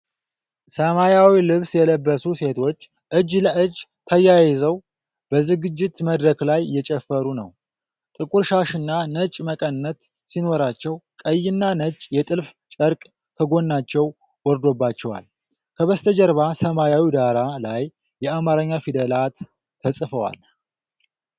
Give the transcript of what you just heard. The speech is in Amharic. ሰማያዊ ልብስ የለበሱ ሴቶች እጅ ለእጅ ተያይዘው በዝግጅት መድረክ ላይ እየጨፈሩ ነው። ጥቁር ሻሽና ነጭ መቀነት ሲኖራቸው፣ ቀይና ነጭ የጥልፍ ጨርቅ ከጎናቸው ወርዶባቸዋል። ከበስተጀርባ ሰማያዊ ዳራ ላይ የአማርኛ ፊደላት ተጽፈዋል።